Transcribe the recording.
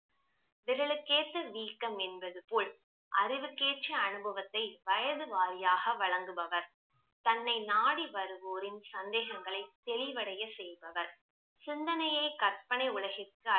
விரலுக்கேத்த வீக்கம் என்பது போல் அறிவு கேற்ற அனுபவத்தை வயது வாரியாக வழங்குபவர் தன்னை நாடி வருவோரின் சந்தேகங்களை தெளிவடைய செய்பவர் சிந்தனையை கற்பனை உலகிற்க்கு